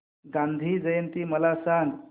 गांधी जयंती मला सांग